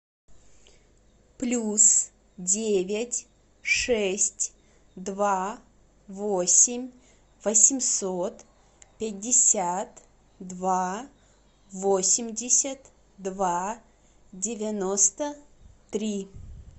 плюс девять шесть два восемь восемьсот пятьдесят два восемьдесят два девяносто три